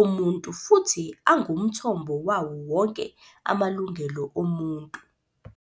omuntu futhi angumthombo wawo wonke amalungelo omuntu."